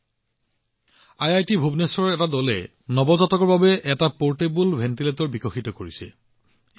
উদাহৰণ স্বৰূপে আইআইটি ভুৱনেশ্বৰৰ এটা দলে নৱজাতক শিশুৰ বাবে এটা পৰ্টেবল ভেণ্টিলেটৰ বিকশিত কৰিছে